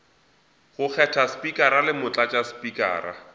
go kgetha spikara le motlatšaspikara